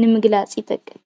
ንምግላፅ ይጠቅም።